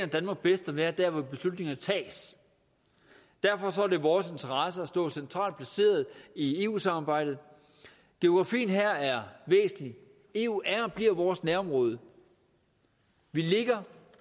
danmark bedst at være der hvor beslutningerne tages derfor er det i vores interesse at stå centralt placeret i eu samarbejdet geografien her er væsentlig eu er og bliver vores nærområde vi ligger